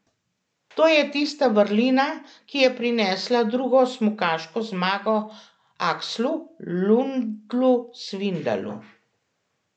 To je tista vrlina, ki je prinesla drugo smukaško zmago Akslu Lundu Svindalu.